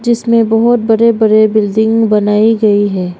इसमें बहुत बड़े बड़े बिल्डिंग बनाई गई है।